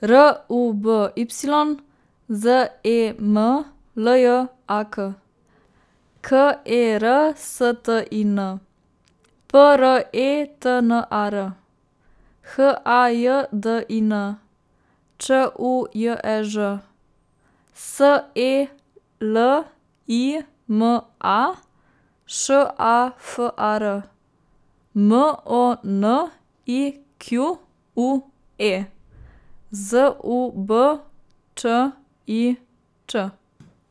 R U B Y, Z E M L J A K; K E R S T I N, P R E T N A R; H A J D I N, Č U J E Ž; S E L I M A, Š A F A R; M O N I Q U E, Z U B Č I Ć.